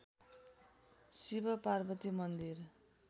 शिवपार्वती मन्दिर